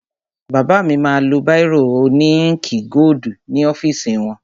Bàbá mi ma lo báìrò òní íǹkì gódù ní ọ́fìsì wọn.